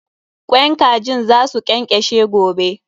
Kwain kajin za su ƙenƙeshe gobe.